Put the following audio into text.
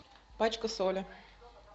пачка соли